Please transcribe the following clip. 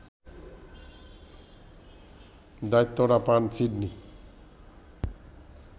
দায়িত্বটা পান সিডনি